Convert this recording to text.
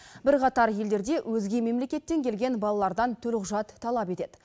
бірқатар елдерде өзге мемлекеттен келген балалардан төлқұжат талап етеді